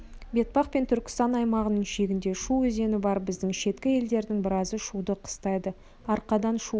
бетпақ пен түркістан аймағының шегінде шу өзені бар біздің шеткі елдердің біразы шуды қыстайды арқадан шу